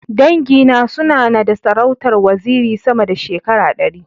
Dangi na suna na da sarautar waziri sama da shekara ɗari.